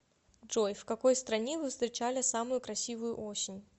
джой в какой стране вы встречали самую красивую осень